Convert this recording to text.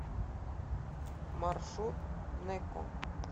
маршрут нэко